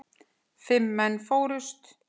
Fimm menn fórust.